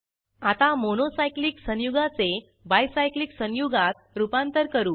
आता monocyclic संयुगाचे bicyclic संयुगात रूपांतर करू